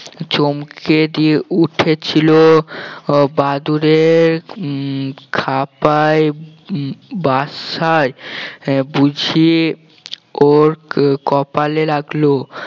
চমকে দিয়ে উঠেছিল আহ বাদুড়ের উম খাপায় উম বাসায় আহ বুঝিয়ে ওর কপালে লাগলো